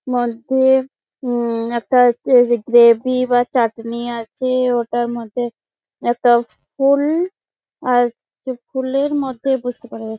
মধ্যে উম একটা যে গ্রাভি বা চাটনি আছে ওটার মধ্যে একটা ফুল-ল। আর ফুলের মধ্যে বুঝতে পাড়া যা --